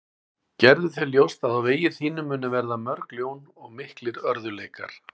Gerðu þér ljóst að á vegi þínum munu verða mörg ljón og miklir örðugleikar.